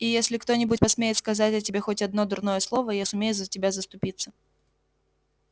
и если кто-нибудь посмеет сказать о тебе хоть одно дурное слово я сумею за тебя заступиться